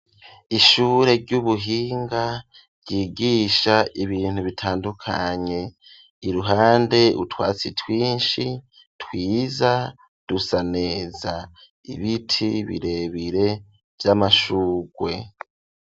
ishure ry'ubuhinga ryigisha ibintu bitandukanye iruhande utwatsi twinshi twiza dusa neza ibiti birebire vy'amashugwe.